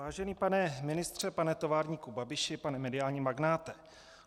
Vážený pane ministře, pane továrníku Babiši, pane mediální magnáte.